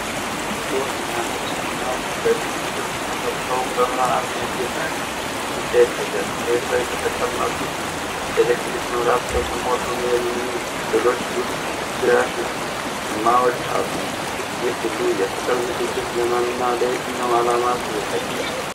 ሮዝ እና ነጭ ፊኛዎች በልብ ቅርጽ ተሰርተው በብርሃን ያጌጠ ግድግዳ ይታያል። መሬት ላይ በተቀመጡት በኤሌክትሪክ መብራት በተሞሉ "MARRY ME" ፊደሎች ዙሪያ ሻማዎች አሉ። ይህ ሁሉ የፍቅር ዝግጅት ለማን እና ለየትኛው ዓላማ ተዘጋጀ?